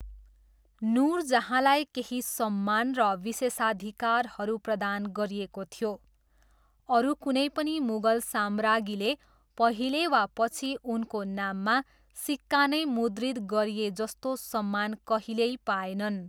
नुरजहाँलाई केही सम्मान र विशेषाधिकारहरू प्रदान गरिएको थियो, अरू कुनै पनि मुगल सम्राज्ञीले पहिले वा पछि उनको नाममा सिक्का नै मुद्रित गरिएजस्तो सम्मान कहिल्यै पाएनन्।